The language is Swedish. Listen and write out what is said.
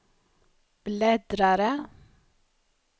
bläddrare